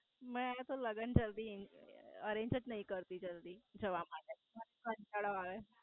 મે એ તો લગન જલ્દી હી Arenja જ નય કરતી જલ્દી જવા માટે કંટાળો આવે.